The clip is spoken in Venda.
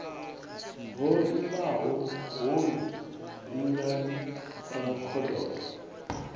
ho imaho hoyu lingani rankhododo